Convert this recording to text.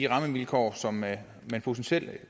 rammevilkår som man potentielt